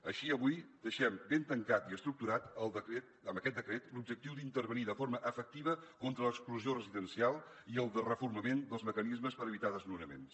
així avui deixem ben tancat i estructurat amb aquest decret l’objectiu d’intervenir de forma efectiva contra l’exclusió residencial i el de reforçament dels mecanismes per evitar desnonaments